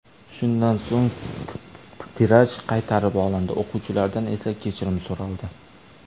Shundan so‘ng tiraj qaytarib olindi, o‘quvchilardan esa kechirim so‘raldi.